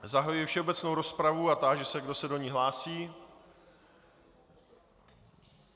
Zahajuji všeobecnou rozpravu a táži se, kdo se do ní hlásí.